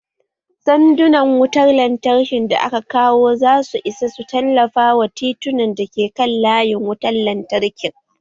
Sandunan wutar lantarki da aka kawo za su isa su tallafa wa titunan da ke kan layin wutar lantarki